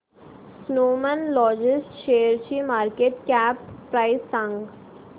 Snowman logistics शेअरची market cap price सांगा